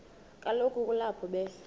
kaloku kulapho be